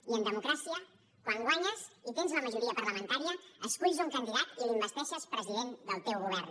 i en democràcia quan guanyes i tens la majoria parlamentària esculls un candidat i l’investeixes president del teu govern